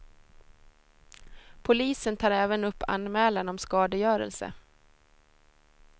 Polisen tar även upp anmälan om skadegörelse.